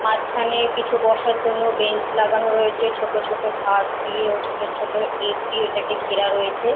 মাঝখানে কিছু বসার জন্য বেঞ্চ লাগানো রয়েছে ছোট ছোট ঘাস দিয়ে ও ছোট ছোট ইট দিয়ে এটাকে ঘেরা রয়েছে।